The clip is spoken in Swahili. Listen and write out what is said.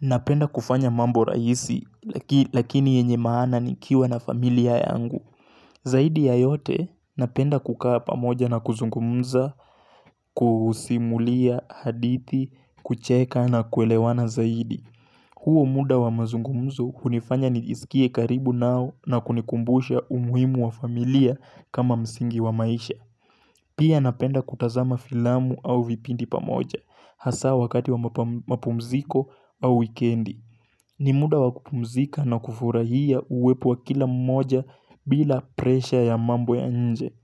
Napenda kufanya mambo rahisi lakini yenye maana nikiwa na familia yangu Zaidi ya yote napenda kukaa pamoja na kuzungumza, kusimulia, hadithi, kucheka na kuelewana zaidi huo muda wa mazungumzu hunifanya nijisikie karibu nao na kunikumbusha umuhimu wa familia kama msingi wa maisha Pia napenda kutazama filamu au vipindi pamoja hasa wakati wa mapumziko au wikendi ni muda wakupumzika na kufurahia uwepo wa kila mmoja bila presha ya mambo ya nje.